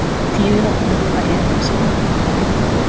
Týri var búinn að ljúka erindi sínu og vildi fara inn aftur.